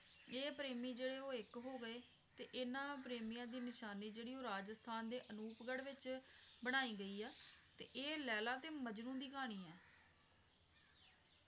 ਇਹ ਪ੍ਰੇਮੀ ਜਿਹੜੇ ਉਹ ਇੱਕ ਹੋ ਗਏ ਤੇ ਇਹਨਾਂ ਪ੍ਰੇਮੀਆਂ ਦੀ ਨਿਸ਼ਾਨੀ ਜਿਹੜੀ ਰਾਜਸਥਾਨ ਦੇ ਅਨੁਪਗੜ੍ਹ ਵਿੱਚ ਬਣਾਈ ਗਈ ਆ ਤੇ ਇਹ ਲੈਲਾ ਤੇ ਮਜਨੂੰ ਦੀ ਕਹਾਣੀ ਆ